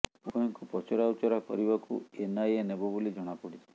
ଉଭୟଙ୍କୁ ପଚରା ଉଚରା କରିବାକୁ ଏନଆଇଏ ନେବ ବୋଲି ଜଣାପଡ଼ିଛି